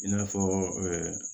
I n'a fɔ